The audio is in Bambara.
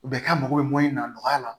Bɛɛ k'a mako bɛ mun na nɔgɔya la